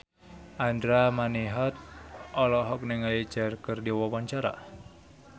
Andra Manihot olohok ningali Cher keur diwawancara